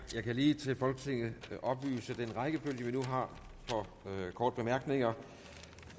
kan lige til folketinget oplyse at den rækkefølge vi nu har for korte bemærkninger